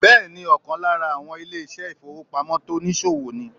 Bẹ́ẹ̀ni ọ̀kan lára àwọn ilé ìṣẹ́ ìfowópamọ́ tonìsòwò ni